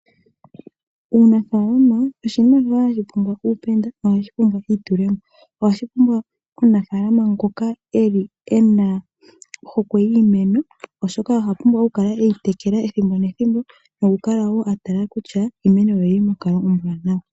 Uunafaalama oshinima hashi pumbwa uupenda nohashi pumbwa eitulemo. Ohashi pumbwa omunafaalama ngoka eli e na ohokwe yiimeno oshoka oha pumbwa okukala eyi tekela ethimbo nethimbo nokukala woo a tala kutya iimeno ye oyili konkalo ombwaanawa.